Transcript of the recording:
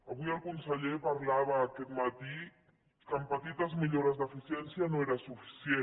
avui el conseller parlava aquest matí que amb petites millores d’eficiència no era suficient